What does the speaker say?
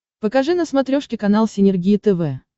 покажи на смотрешке канал синергия тв